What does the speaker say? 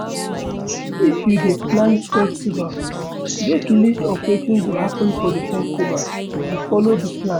If you dey plan festival, get list of wetin go happen for di festival and follow di plan